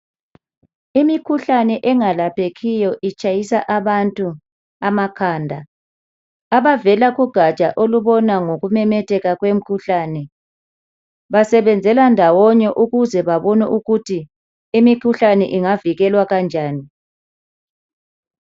Imikhuhlane engalaphekiyo itshayisa abantu amakhanda abavela kugaja olubona ngokumemetheka kwemikhuhlane basebenzele ndawonye ukuthi babone ukuthi imikhuhlane ingavikelwa Kanjani